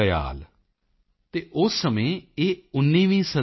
evil ਸੇਪੂਮੋਝੀ ਪੜ੍ਹੀਨੇਤੁਦਿਆਲ ਏਨਿਲ ਸਿੰਧਾਨਈ ਓਂਦਰੁਦਯਾਲ